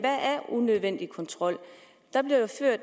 unødvendig kontrol